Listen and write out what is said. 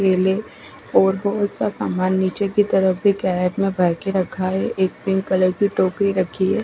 क्लीनिं और दूसरा सामान निचे की तरफ भी बैग भर के रखा है एक पिंक कलर की टोकरी रखी है।